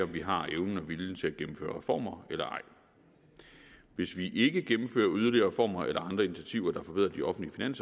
vi har evnen og viljen til at gennemføre reformer eller ej hvis vi ikke gennemfører yderligere reformer eller andre initiativer der forbedrer de offentlige